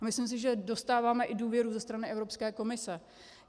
A myslím si, že dostáváme i důvěru ze strany Evropské komise.